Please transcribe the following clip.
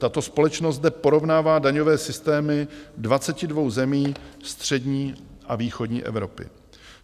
Tato společnost zde porovnává daňové systémy 22 zemí střední a východní Evropy.